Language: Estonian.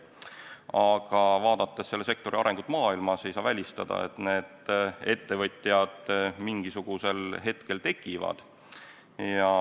Aga vaadates selle sektori arengut maailmas, ei saa välistada, et need ettevõtjad mingisugusel hetkel tekivad.